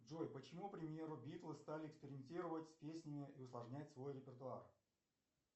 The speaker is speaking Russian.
джой почему к примеру биттлы стали экспериментировать с песнями и усложнять свой репертуар